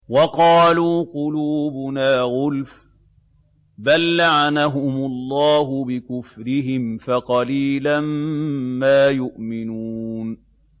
وَقَالُوا قُلُوبُنَا غُلْفٌ ۚ بَل لَّعَنَهُمُ اللَّهُ بِكُفْرِهِمْ فَقَلِيلًا مَّا يُؤْمِنُونَ